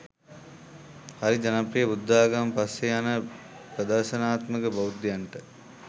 හරිජනප්‍රිය බුද්ධාගම පස්සේ යන ප්‍රදර්ශනාත්මක බෞද්ධයන්ට